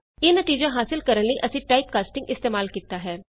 ਇਹ ਨਤੀਜਾ ਹਾਸਲ ਕਰਨ ਲਈ ਅਸੀਂ ਟਾਈਪ ਕਾਸਟਿੰਗ ਇਸਤੇਮਾਲ ਕੀਤਾ ਹੈ